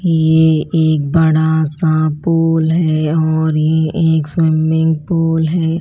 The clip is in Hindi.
ये एक बड़ा सा पूल है और ये एक स्विमिंग पूल है।